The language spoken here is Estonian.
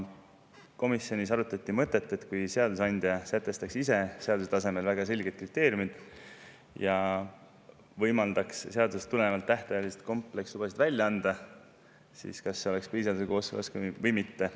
Komisjonis arutati mõtet, et kui seadusandja sätestaks ise seaduse tasemel väga selged kriteeriumid ja võimaldaks seadusest tulenevalt tähtajalisi komplekslubasid välja anda, siis kas see oleks põhiseadusega kooskõlas või mitte.